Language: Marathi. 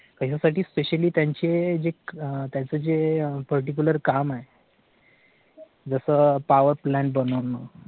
याच्यासाठी specially त्यांचे जे त्या चं जे particular काम आहे. जस power plan बनवणं